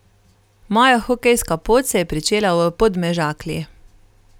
Moja hokejska pot se je pričela v Podmežakli.